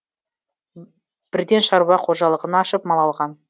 бірден шаруа қожалығын ашып мал алған